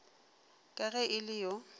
ka ge e le yo